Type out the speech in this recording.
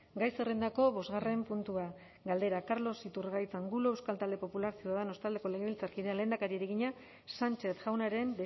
gai zerrendako bosgarren puntua galdera carlos iturgaiz angulo euskal talde popularra ciudadanos taldeko legebiltzarkideak lehendakariari egina sánchez jaunaren